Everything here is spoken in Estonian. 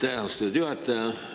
Aitäh, austatud juhataja!